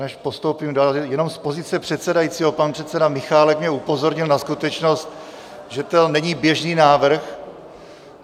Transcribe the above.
Než postoupím dál, jenom z pozice předsedajícího - pan předseda Michálek mě upozornil na skutečnost, že to není běžný návrh.